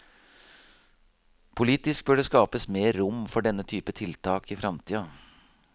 Politisk bør det skapes mer rom for denne typen tiltak i framtida.